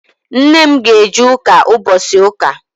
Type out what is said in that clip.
Nne m ga-eje ụka ụbochị ụka.